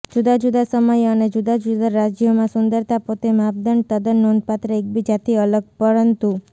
જુદા જુદા સમયે અને જુદા જુદા રાજ્યોમાં સુંદરતા પોતે માપદંડ તદ્દન નોંધપાત્ર એકબીજાથી અલગ પરંતુ